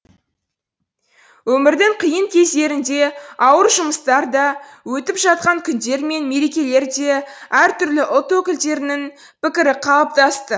өмірдің қиын кездерінде ауыр жұмыстарда өтіп жатқан күндер мен мерекелерде әр түрлі ұлт өкілдерінің пікірі қалыптасты